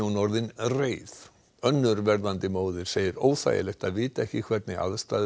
orðin reið önnur verðandi móðir segir óþægilegt að vita ekki hvernig aðstæður